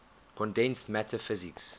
condensed matter physics